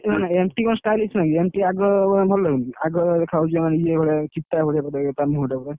Mt କଣ stylish ନୁହଁ କି MT ଆଗ ଭଲ ଲାଗୁନି ଆଗ ଦେଖା ଯାଉଛି ଏଇ ମାନେ ଇଏ ଭଳିଆ ତା ମୁଁହଁ ଟା ପୁରା